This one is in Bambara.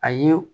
A ye